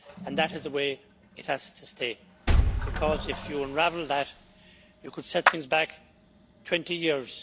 That is the way it has to stay, because if you unravel that you could set things back 20 years.